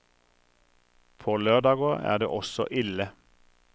På lørdager er det også ille.